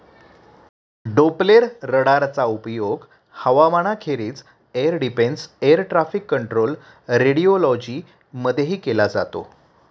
डोप्प्लेररडारचा उपयोग हवामानाखेरीज air defence, air traffic control, radiology मधेही केला जातो.